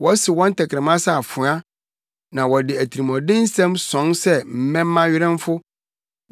Wɔsew wɔn tɛkrɛma sɛ afoa na wɔde atirimɔden nsɛm sɔn sɛ mmɛmma werɛmfo.